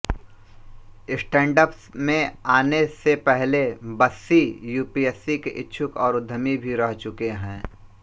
stand up में आने से पहले बस्सी यूपीएससी के इच्छुक और उद्यमी भी रह चुके हैं